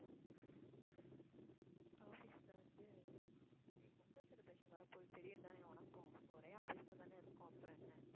office ல வந்து Pongal celebration வரப்போது தெரியும்தானே உனக்கும். ஒரே office லதானே இருக்கோம், அப்புறம் என்ன.